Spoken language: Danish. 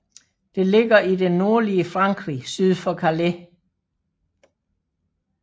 Det ligger i det nordlige Frankrig syd for Calais